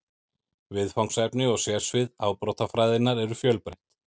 Viðfangsefni og sérsvið afbrotafræðinnar eru fjölbreytt.